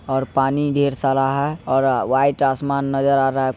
और पानी ढेर सारा है और व्हाइट आसमान नजर आ रहा है।